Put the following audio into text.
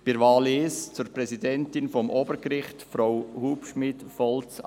Bei der ersten Wahl, Präsidentin des Obergerichts, unterstützen wir Frau Annemarie Hubschmid Volz.